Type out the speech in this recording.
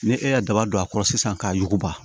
Ni e y'a daba don a kɔrɔ sisan k'a yuguba